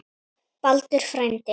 Baldur frændi.